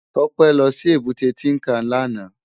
Tope lò si ébùté Tinkán làná